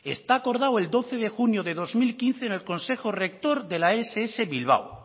está acordado el doce de junio de dos mil quince en el consejo rector de la ess bilbao